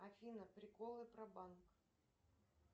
афина приколы про банк